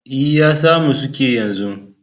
E,, ya samu suƙi yanzu.